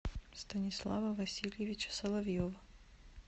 станислава васильевича соловьева